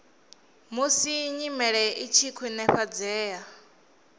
musi nyimele i tshi khwinifhadzea